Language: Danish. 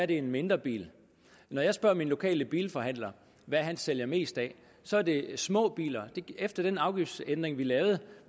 det er en mindre bil når jeg spørger min lokale bilforhandler hvad han sælger mest af så er det små biler efter den afgiftsændring vi lavede